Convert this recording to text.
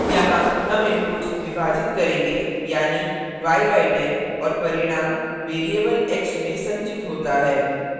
यहाँ हम inputs विभाजित करेंगे यानि y by 10 और परिणाम variable x में संचित होता है